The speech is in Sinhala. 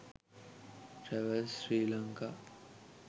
travels sri lanka